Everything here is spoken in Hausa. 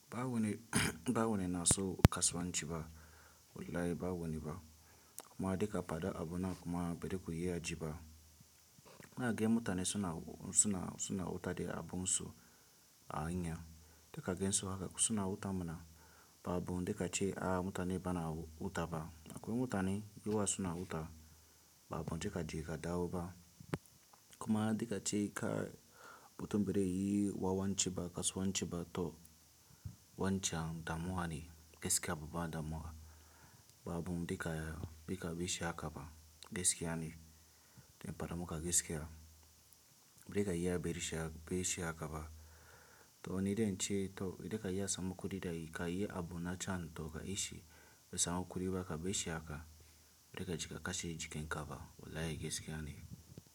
Ba wani na so kasuwanci ba, wallahi ba wani ba. Kuma dika fada abu nan kuma ba da ku iya ji ba. Ina gani mutane suna, suna, suna wuta da abun su a hanya, dika gaisuwa haka suna wuta muna babu dika ce a mutane bana wuta ba. Akwai mutane giwa suna wuta babu dika ji ka dawo ba. Kuma dika ce kai mutum birin yi wawan ci ba kasuwan ci ba to wancan damuwa ne gaskiya babba damuwa babu dika bika bishi aka ba gaskiya ne. Dan fada muka gaskiya, bika yi ya biye bishi aka ba to nidan ce to idan ka yi ya samu kuɗi da kai yi abu na can to ka ishi ya samu kuɗi baka bishi aka bika jika kashi jika kaba wallahi gaiska ne.